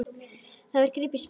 Svo var gripið í spil.